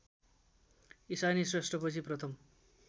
इशानी श्रेष्ठपछि प्रथम